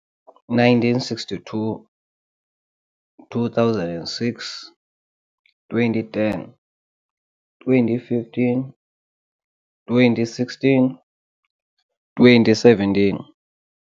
- 1962 - 2006 - 2010 - 2015 - 2016 - 2017